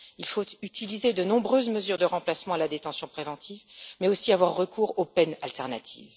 Il faut utiliser de nombreuses mesures de remplacement à la détention préventive, mais aussi avoir recours aux peines alternatives.